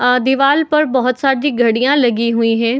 आ दीवाल पर बहोत सारी घड़ियां लगी हुई है।